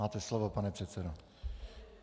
Máte slovo, pane předsedo.